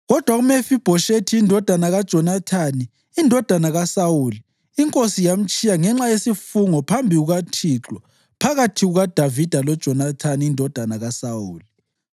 Kodwa uMefibhoshethi indodana kaJonathani, indodana kaSawuli, inkosi yamtshiya ngenxa yesifungo phambi kukaThixo phakathi kukaDavida loJonathani indodana kaSawuli.